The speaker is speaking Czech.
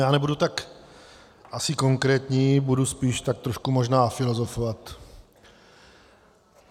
Já nebudu asi tak konkrétní, budu spíš tak trošku možná filozofovat.